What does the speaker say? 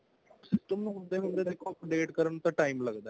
ਤੇ ਉਹਨੂੰ ਹੁੰਦੇ ਹੁੰਦੇ ਦੇਖੋ update ਕਰਨ ਨੂੰ ਤਾਂ time ਲੱਗਦਾ